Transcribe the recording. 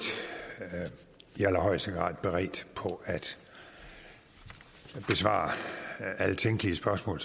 i allerhøjeste grad beredt på at besvare alle tænkelige spørgsmål